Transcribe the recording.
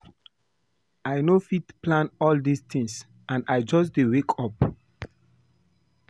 I no go fit plan all dis things and I just dey wake up